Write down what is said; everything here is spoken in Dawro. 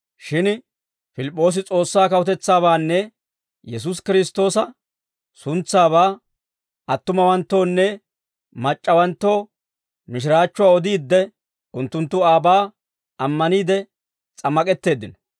Shin Pilip'p'oosi S'oossaa kawutetsaabaanne Yesuusi Kiristtoosa suntsaabaa attumawanttoonne mac'c'awanttoo mishiraachchuwaa odiidde, unttunttu aabaa ammaniide s'ammak'etteeddino.